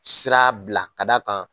Sira bila ka d'a kan